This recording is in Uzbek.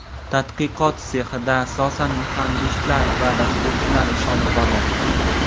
Tadqiqot sexida asosan muhandislar va dasturchilar ish olib boryapti.